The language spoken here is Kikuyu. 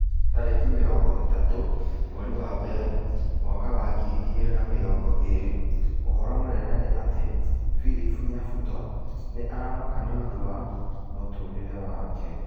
Tarĩki mĩrongo ĩtatũ mweri wa mbere mwaka wa ngiri igĩrĩ na mĩrongo ĩrĩ ũhoro mũnene nĩ ati philip nyabuto nĩ aramaka nĩũndũ wa mũtũrĩre wake